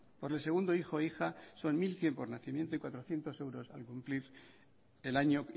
por el segundo hijo o hija son mil cien por nacimiento y cuatrocientos euros al cumplir el año